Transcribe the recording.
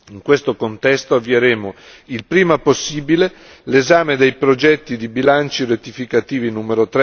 In questo contesto avvieremo, il prima possibile, l'esame dei progetti di bilanci rettificativi nn.